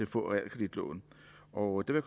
få realkreditlån og der